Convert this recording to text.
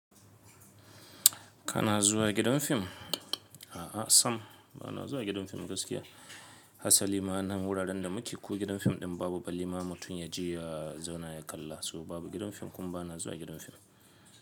Kana zuwa gidan fim? A'a sam bana zuwa gidan fim gaskiya. Hasa liman nan wuraren da muke ko gidan fim ɗin babu ba liman mutum ya je ya zauna ya kalla. So babu gidan fim kuma bana zuwa gidan fim.